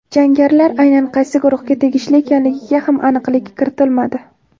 Jangarilar aynan qaysi guruhga tegishli ekanligiga ham aniqlik kiritilmadi.